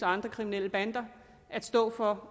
andre kriminelle bander at stå for